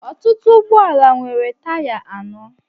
ọtụtụ ụgbọ ala nwere taya anọ